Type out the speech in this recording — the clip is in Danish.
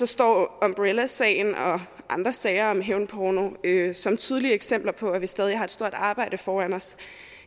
står umbrellasagen og andre sager om hævnporno som tydelige eksempler på at vi stadig har et stort arbejde foran os